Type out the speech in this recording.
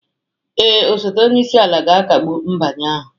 Ee, osote onye isi ala ga-akagbu nbanye ahụ